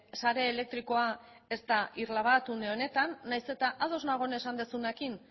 sare elektrikoa ez da irla bat une honetan nahiz eta ados nago esan duzunarekin